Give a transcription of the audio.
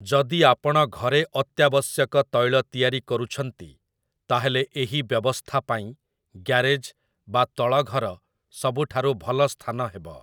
ଯଦି ଆପଣ ଘରେ ଅତ୍ୟାବଶ୍ୟକ ତୈଳ ତିଆରି କରୁଛନ୍ତି, ତା'ହେଲେ ଏହି ବ୍ୟବସ୍ଥା ପାଇଁ ଗ୍ୟାରେଜ୍ ବା ତଳଘର ସବୁଠାରୁ ଭଲ ସ୍ଥାନ ହେବ ।